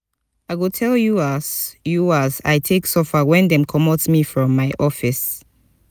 i go tell you as you as i take suffer wen dem comot me from my office.